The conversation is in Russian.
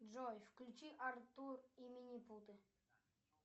джой включи артур и лилипуты